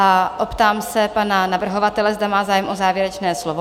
A optám se pana navrhovatele, zda má zájem o závěrečné slovo?